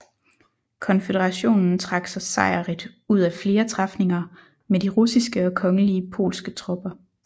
Konføderationen trak sig sejrrigt ud af flere træfninger med de russiske og kongelige polske tropper